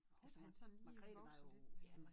Håber han sådan lige vokser lidt mere